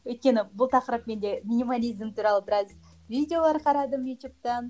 өйткені бұл тақырып менде минимализм туралы біраз видеолар қарадым ютубтан